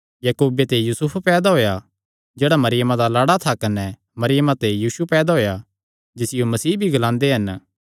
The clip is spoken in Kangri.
याकूबे ते यूसुफ पैदा होएया जेह्ड़ा मरियमा दा लाड़ा था कने मरियमा ते यीशु जिसियो मसीह भी ग्लांदे हन पैदा होएया